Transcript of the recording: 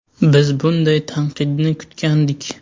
Biz bunday tanqidni kutgandik.